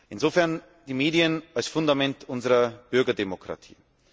Insofern sind die Medien ein Fundament unserer Bürgerdemokratie.